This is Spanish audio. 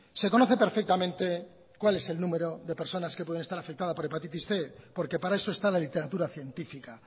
se conoce perfectamente cuál es el número de personas que pueden estar afectadas por hepatitis cien porque para eso está la literatura científica